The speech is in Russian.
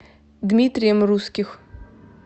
дмитрием русских